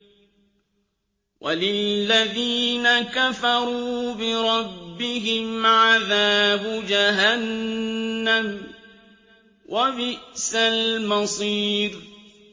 وَلِلَّذِينَ كَفَرُوا بِرَبِّهِمْ عَذَابُ جَهَنَّمَ ۖ وَبِئْسَ الْمَصِيرُ